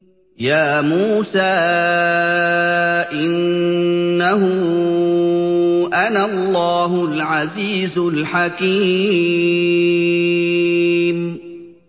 يَا مُوسَىٰ إِنَّهُ أَنَا اللَّهُ الْعَزِيزُ الْحَكِيمُ